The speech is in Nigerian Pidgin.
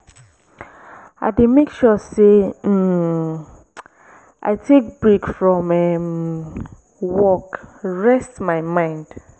i dey make sure sey um i take break from um work rest my mind.